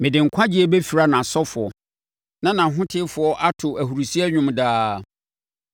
Mede nkwagyeɛ bɛfira nʼasɔfoɔ na nʼahotefoɔ ato ahurisie dwom daa.